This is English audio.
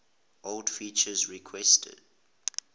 old feature requests